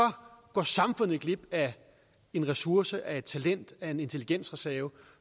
går samfundet glip af en ressource af et talent af en intelligensreserve